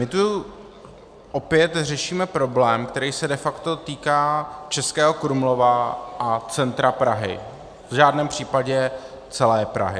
My tu opět řešíme problém, který se de facto týká Českého Krumlova a centra Prahy, v žádném případě celé Prahy.